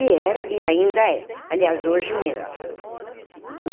E era, e ainda é. Aliás, hoje, menos.